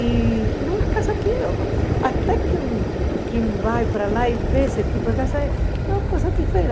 E eram umas casas... Até quem vai para lá e vê esse tipo de casa, é uma coisa